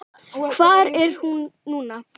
Hvar er hún núna?